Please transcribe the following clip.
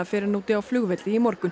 fyrr en úti á flugvelli í morgun